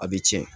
A bɛ tiɲɛ